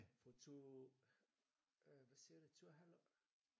For to øh hvad siger det to et halvt år